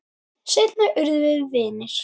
Seinna urðum við vinir.